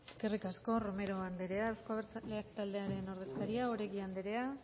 eskerrik asko romero andrea euzko abertzaleak taldearen ordezkaria oregi andrea